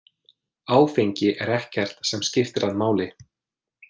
Áfengi er ekkert sem skiptir hann máli.